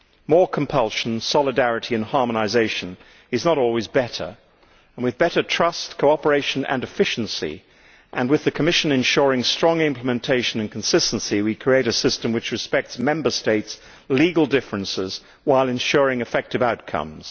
More compulsion, solidarity and harmonisation is not always better, while with better trust, cooperation and efficiency and with the Commission ensuring strong implementation and consistency we will create a system which respects Member States' legal differences while ensuring effective outcomes.